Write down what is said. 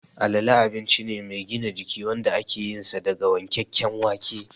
Alale abinci ne mai gina jiki wanda ake yinsa daga wankakken wake